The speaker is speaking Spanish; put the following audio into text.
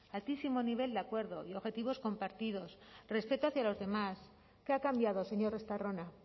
altísimo nivel de acuerdo y objetivos compartidos respeto hacia los demás qué ha cambiado señor estarrona